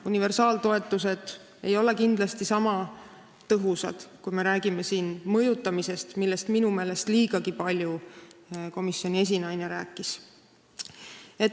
Universaaltoetused ei ole kindlasti sama tõhusad, kui me räägime siin mõjutamisest, millest minu meelest komisjoni esinaine liigagi palju rääkis.